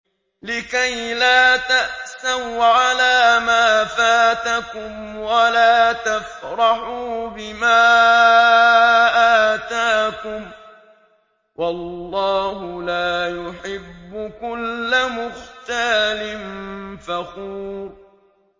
لِّكَيْلَا تَأْسَوْا عَلَىٰ مَا فَاتَكُمْ وَلَا تَفْرَحُوا بِمَا آتَاكُمْ ۗ وَاللَّهُ لَا يُحِبُّ كُلَّ مُخْتَالٍ فَخُورٍ